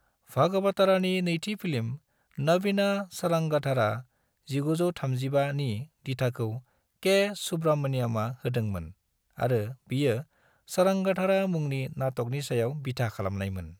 भगवतारनि नैथि फिल्म नवीना सारंगधारा (1935) नि दिथाखौ के. सुब्रमण्यमआ होदोंमोन आरो बियो सारंगधारा मुंनि नाटकनि सायाव बिथा खालामनायमोन।